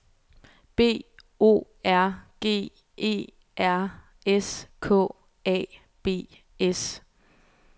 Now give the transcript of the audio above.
B O R G E R S K A B S